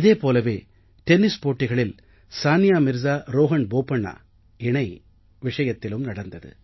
இதே போலவே டென்னிஸ் போட்டிகளில் சானியா மிர்ஸாரோஹண் போபண்ணா இணை விஷயத்தில் நடந்தது